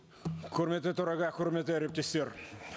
құрметті төраға құрметті әріптестер